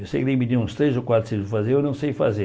Eu sei que ele me deu uns três ou quatro fazer, eu não sei fazer.